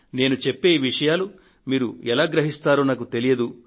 నేను చెప్పే ఈ విషయాలు మీరు ఎలా గ్రహిస్తారో నాకు తెలియదు